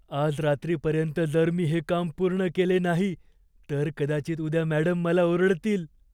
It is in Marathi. आज रात्रीपर्यंत जर मी हे काम पूर्ण केले नाही, तर कदाचित उद्या मॅडम मला ओरडतील.